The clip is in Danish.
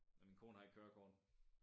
Og min kone har ikke kørekort